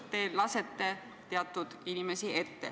Te lasete teatud inimesi ette.